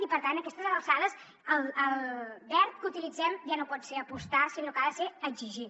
i per tant a aquestes alçades el verb que utilitzem ja no pot ser apostar sinó que ha de ser exigir